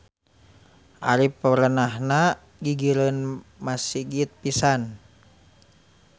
Ari perenahna gigireun masigit pisan.